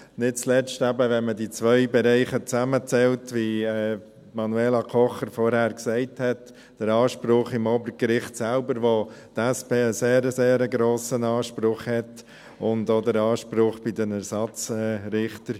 Dies nicht zuletzt, wenn man die zwei Bereiche zusammenzählt, wie Manuela Kocher vorhin gesagt hat, den Anspruch beim Obergericht selbst, bei dem die SP einen sehr grossen Anspruch hat, und der Anspruch bei den Ersatzrichtern.